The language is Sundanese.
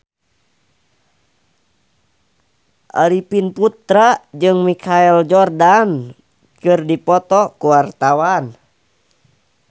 Arifin Putra jeung Michael Jordan keur dipoto ku wartawan